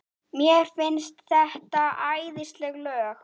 Mér finnst þetta æðisleg lög.